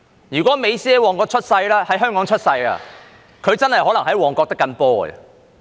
如果美斯在香港出生，他真的可能在旺角"的緊波"。